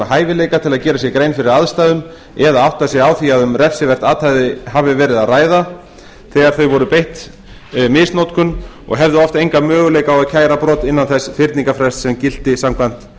hæfileika til að gera sér grein fyrir aðstæðum eða átta sig á því að um refsivert athæfi hefði verið að ræða þegar þau voru beitt kynferðislegri misnotkun og hefðu oft enga möguleika á að kæra brot innan þess fyrningarfrests sem gilti samkvæmt